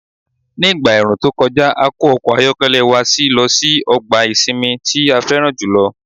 Nígbà ẹ̀ẹ̀rùn tó kọjá, a kó ọkọ̀ ayọ́kẹ́lẹ́ wa a sì lọ sí ọgbà ìsinmi tí a fẹ́ràn jù lọ.